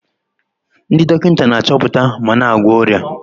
Ndị dọkịta na-achọpụta ma na-agwọ ọrịa.